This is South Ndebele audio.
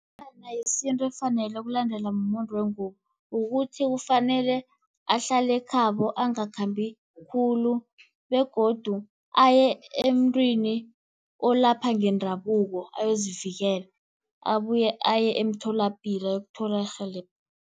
yesintu efanele ukulandelwa mumuntu wengubo, kukuthi kufanele ahlale khabo. Angakhambi khulu, begodu aye emntwini olapha ngendabuko ayozivikela. Abuye aye emtholapilo ayokuthola irhelebho.